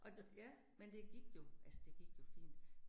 Og, ja, men det gik jo, altså det gik jo fint